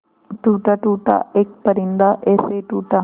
टूटा टूटा एक परिंदा ऐसे टूटा